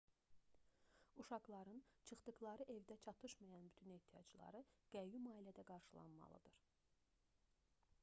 uşaqların çıxdıqları evdə çatışmayan bütün ehtiyacları qəyyum ailədə qarşılanmalıdır